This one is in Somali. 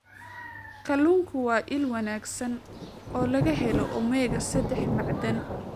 Kalluunku waa il wanaagsan oo laga helo omega-saddex macdan.